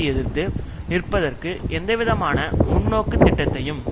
எதிர்த்து நிற்பதற்கு எந்தவிதமான முன்னோக்குத் திட்டத்தையும்